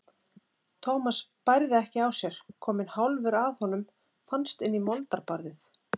Thomas bærði ekki á sér, kominn hálfur að honum fannst inn í moldarbarðið.